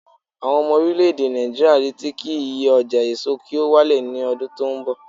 awon omo orileede Naijiriya n reti ki iye oja eso ki o wa le ni odun ton bo